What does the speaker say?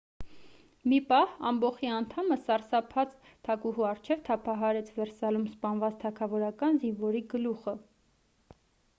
մի պահ ամբոխի անդամը սարսափած թագուհու առջև թափահարեց վերսալում սպանված թագավորական զինվորի գլուխը